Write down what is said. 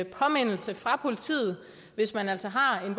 påmindelse fra politiet hvis man altså har en